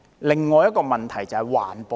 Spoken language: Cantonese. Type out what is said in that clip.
另一個問題就是環保。